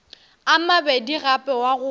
a mabedi gape wa go